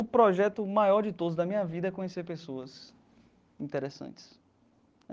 O projeto maior de todos da minha vida é conhecer pessoas interessantes.